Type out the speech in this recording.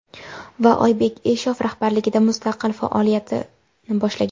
Va Oybek Eshov rahbarligida mustaqil faoliyatini boshlagan.